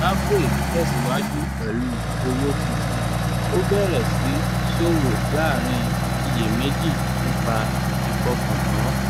zimbabwe tẹ̀síwájú pẹ̀lú owó tuntun ó bẹ̀rẹ̀ sí ṣòwò láàrín iyèméjì nípa ìfọkàntán